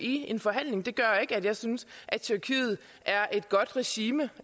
i en forhandling det gør ikke at jeg synes at tyrkiet er et godt regime